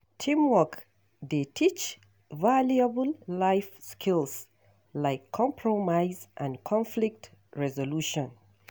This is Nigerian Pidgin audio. Teamwork dey teach valuable life skills like compromise and conflict resolution.